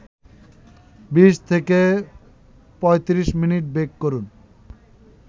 ২০-৩৫ minute bake করুন